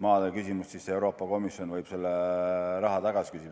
maade küsimuses, võib Euroopa Komisjon selle raha tagasi küsida.